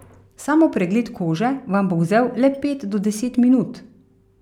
Samopregled kože vam bo vzel le pet do deset minut.